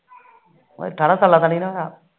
ਠਾਰਾ ਸਾਲਾ ਦਾ ਨੀ ਨਾ ਹੋਇਆ